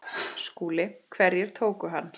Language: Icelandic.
SKÚLI: Hverjir tóku hann?